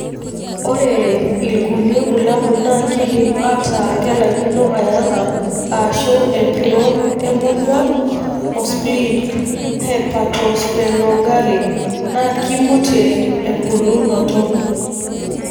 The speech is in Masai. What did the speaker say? Ore ilkulie bulabul na kindim ataa kelaikino ayanga, ashu empiron emonyua o spleen(hepatosplenomegaly) ,na kimutie empulunoto.